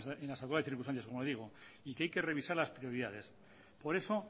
máxime en las actuales circunstancias como le digo y que hay que revisar las prioridades por eso